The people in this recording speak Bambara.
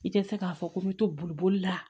I tɛ se k'a fɔ ko n bɛ to boli la